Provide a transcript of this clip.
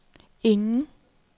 ingen